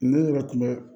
N yɛrɛ kuma